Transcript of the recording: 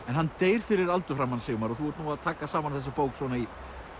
hann deyr fyrir aldur fram hann Sigmar og þú ert að taka saman þessa bók í